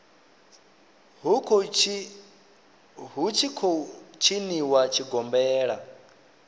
hu tshi khou tshiniwa tshigombela